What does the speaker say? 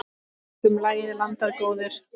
Tökum lagið, landar góðir.